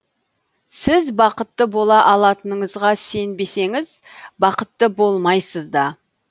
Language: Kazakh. сіз бақытты бола алатыныңызға сенбесеңіз бақытты болмайсыз да